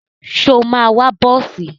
Ṣo máa wọ bọ́ọ̀sì?